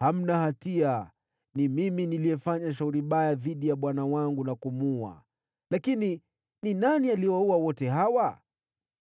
“Hamna hatia. Ni mimi niliyefanya shauri baya dhidi ya bwana wangu na kumuua, lakini ni nani aliyewaua wote hawa?